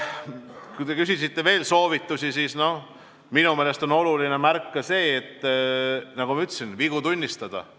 Kui te küsisite veel soovitusi, siis minu meelest on oluline, nagu ma ütlesin, vigu tunnistada.